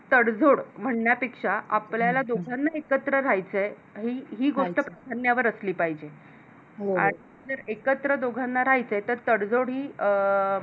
तडजोड म्हणण्यापेक्षा आपल्याला दोघांना एकत्र राहायचं आहे आणि ही गोष्ट असली पाहिजे आणि एकत्र दोघांना राहायचं तर तळजोड ही अं